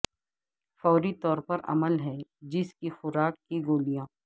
فوری طور پر عمل ہے جس کی خوراک کی گولیاں